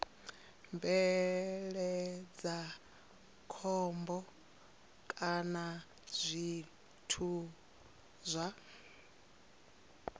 bveledza khombo kana zwithu zwa